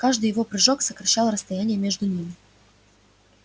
каждый его прыжок сокращал расстояние между ними